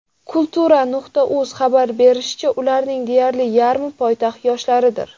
Kultura.uz xabar berishicha , ularning deyarli yarmi poytaxt yoshlaridir.